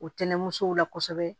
O tɛnɛnmusow la kosɛbɛ